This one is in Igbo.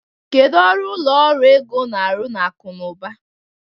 Kedu ọrụ ụlọ ọrụ ego na-arụ na akụ na ụba?